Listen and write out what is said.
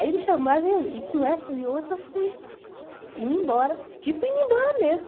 Aí ele chamou, aí veio, e com essas e outras eu fui indo embora, tipo indo embora mesmo.